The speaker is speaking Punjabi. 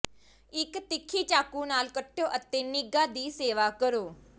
ਇੱਕ ਤਿੱਖੀ ਚਾਕੂ ਨਾਲ ਕੱਟੋ ਅਤੇ ਨਿੱਘਾ ਦੀ ਸੇਵਾ ਕਰੋ